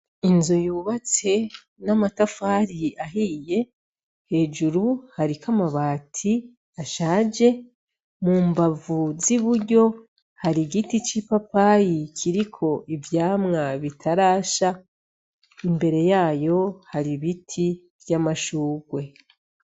Inzu yubatse n'amatafari ahiye hejuru hariko amabati ashaje, mu mbavu z'iburyo har'igiti c'ipapayi kiriko ivyamwa bitarasha imbere yayo har'ibiti vy'amashurwe.